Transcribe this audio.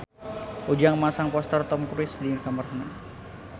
Ujang masang poster Tom Cruise di kamarna